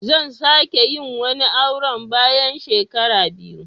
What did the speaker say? Zan ka sake yin wani auren bayan shekara biyu.